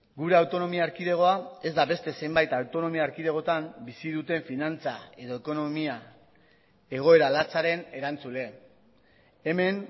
gure autonomia erkidegoa ez da beste zenbait autonomia erkidegotan bizi duten finantza edo ekonomia egoera latzaren erantzule hemen